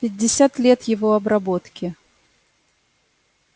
пятьдесят лет его обработки